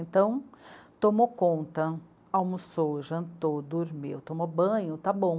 Então tomou conta, almoçou, jantou, dormiu, tomou banho, tá bom.